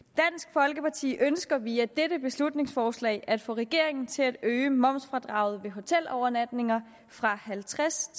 folkeparti ønsker via dette beslutningsforslag at få regeringen til at øge momsfradraget for hotelovernatninger fra halvtreds